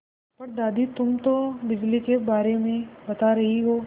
पर दादी तुम तो बिजली के बारे में बता रही हो